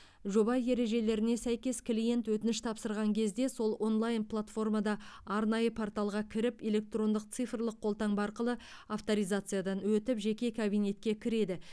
жоба ережелеріне сәйкес клиент өтініш тапсырған кезде сол онлайн платформада арнайы порталға кіріп электрондық цифрлық қолтаңба арқылы авторизациядан өтіп жеке кабинетке кіреді